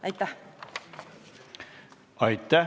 Aitäh!